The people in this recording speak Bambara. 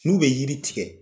N'u bɛ yiri tigɛ.